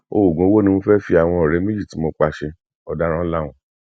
oògùn owó ni mo fẹ fi àwọn ọrẹ méjì tí mo pa ṣe ọdaràn lahùn